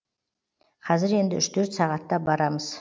қазір енді үш төрт сағатта барамыз